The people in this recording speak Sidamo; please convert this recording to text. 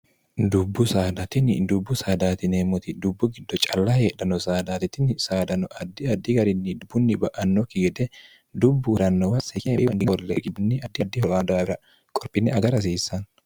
dubbu saadatini dubbu saadaatineemmoti dubbu giddo calla heedhano saadaatitini saadano addi addi garinni dubbunni ba'annokki gede dubbu urannowa s ogibii ddidiho daawira qorphinne aga rahsiissaann